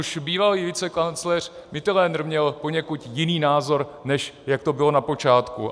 Už bývalý vicekancléř Mitterlehner měl poněkud jiný názor, než jak to bylo na počátku.